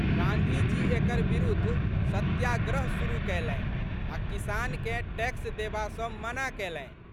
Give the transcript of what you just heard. गाँधीजी एकर बिरुद्ध सत्याग्रह शुरु कयलनि आ' किसानकेँ टैक्स देबा सँ मना कैलनि।